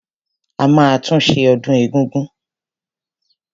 A máa tún ṣe ọdún egúngún.